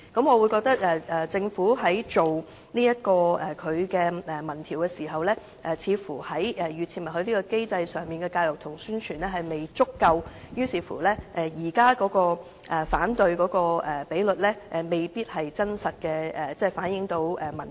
我認為政府在進行民意調查時，似乎在預設默許機制上所做的教育及宣傳工夫並不足夠，以致反對的比率未必能真實反映民意。